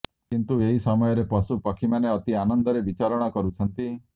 କିନ୍ତୁ ଏହି ସମୟରେ ପଶୁ ପକ୍ଷୀମାନେ ଅତି ଆନନ୍ଦରେ ବିଚରଣ କରୁଛନ୍ତି